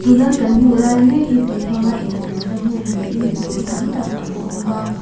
tuna kan hmuh lai mek hi tui hmang a infiamna hmun niin mipui tam tak an awm a.